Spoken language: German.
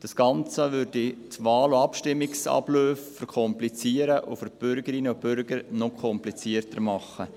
Das Ganze würde die Wahl- und Abstimmungsabläufe verkomplizieren und für die Bürgerinnen und Bürger noch komplizierter machen.